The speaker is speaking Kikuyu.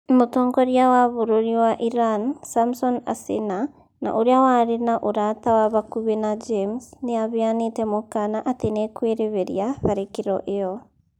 Mũtongoria wa bũrũri wa Iran, Samson Asena, na ũrĩa warĩ na ũrata wa hakuhĩ na James, nĩ aheanĩte mũkana atĩ nĩekwĩrĩhĩria tharĩkĩro ĩyo,